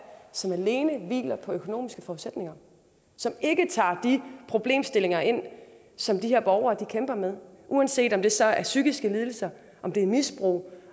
som alene hviler på økonomiske forudsætninger og som ikke tager de problemstillinger ind som de her borgere kæmper med uanset om det så er psykiske lidelser om det er misbrug